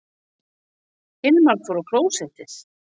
Hilmar fór fram á klósett.